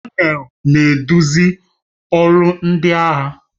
Kọnel na-eduzi ọrụ ndị agha